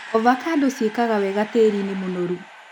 Ovacando cĩikaga wega tĩrĩinĩ mũnoru.